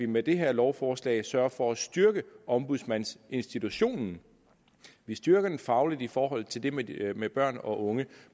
med det her lovforslag sørger for at styrke ombudsmandsinstitutionen vi styrker den fagligt i forhold til det med det med børn og unge